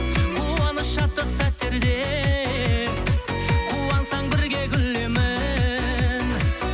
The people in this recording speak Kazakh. қуаныш шаттық сәттерде қуансаң бірге күлемін